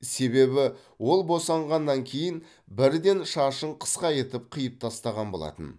себебі ол босанғаннан кейін бірден шашын қысқа етіп қиып тастаған болатын